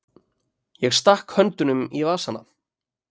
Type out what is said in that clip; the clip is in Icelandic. Ég stakk höndunum í vasana.